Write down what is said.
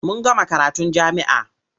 Mun gama karatun jami'a.